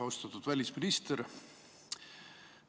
Austatud välisminister!